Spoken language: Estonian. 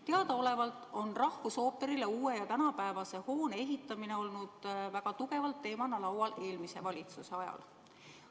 Teadaolevalt oli rahvusooperile uue ja tänapäevase hoone ehitamine eelmise valitsuse ajal teemana väga tugevalt laual.